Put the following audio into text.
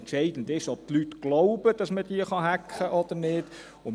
Entscheidend ist, ob die Leute glauben, dass man sie hacken oder nicht hacken kann.